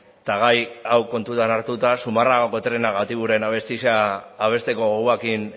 eta gai hau kontutan hartuta zumarragako trena gatiburen abestia abesteko gogoarekin